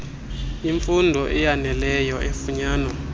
imfund eyaneleyo efunwayo